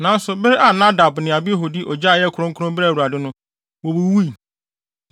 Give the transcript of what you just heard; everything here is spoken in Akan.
Nanso, bere a Nadab ne Abihu de ogya a ɛnyɛ kronkron brɛɛ Awurade no, wowuwui.